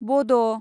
बड'